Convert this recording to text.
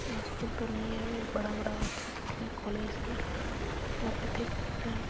School तो नही है। बड़ा-बड़ा बच्चा दिख रहे हैं कॉलेज है। यहाँ पे देख सकते हैं।